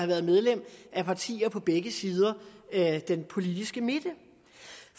været medlem af partier på begge sider af den politiske midte